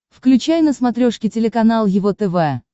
включай на смотрешке телеканал его тв